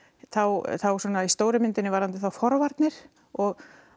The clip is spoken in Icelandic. þá þá svona í stóru myndinni varðandi þá forvarnir og